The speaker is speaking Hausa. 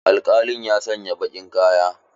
Alkalin ya sanya baƙin kaya.